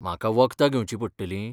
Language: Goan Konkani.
म्हाका वखदां घेवची पडटलीं?